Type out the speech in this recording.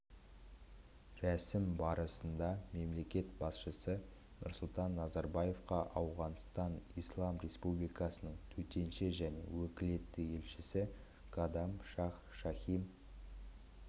рәсім барысында мемлекет басшысы нұрсұлтан назарбаевқа ауғанстан ислам республикасының төтенше және өкілетті елшісі кадам шах шахим